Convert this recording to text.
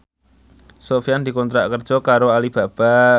Sofyan dikontrak kerja karo Alibaba